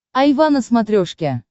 айва на смотрешке